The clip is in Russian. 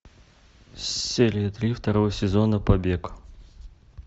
серия три второго сезона побег